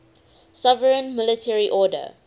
sovereign military order